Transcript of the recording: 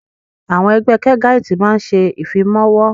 Àwọn Ẹgbẹ́ kẹgáitì máa ń ṣe ìfimawo